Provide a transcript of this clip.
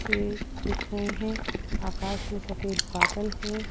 पेड़ दिख रहे हैं आकाश में सफेद बादल हैं।